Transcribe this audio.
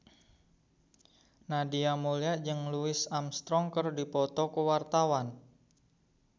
Nadia Mulya jeung Louis Armstrong keur dipoto ku wartawan